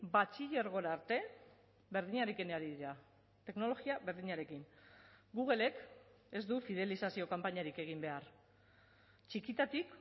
batxilergora arte berdinarekin ari dira teknologia berdinarekin googlek ez du fidelizazio kanpainarik egin behar txikitatik